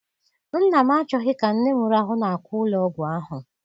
Nna m achọghị ka nne m rahụ n'akwa ụlọ ọgwụ ahụ.